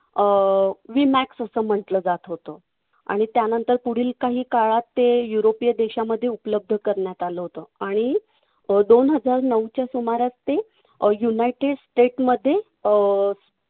अं vmax असं म्हंटल जात होतं. आणि त्यानंतर पुढील काही काळात ते युरोपीय देशामध्ये उपलब्ध करण्यात आलं होतं आणि अं दोन हजार नऊच्या सुमारास ते अं united state मध्ये अं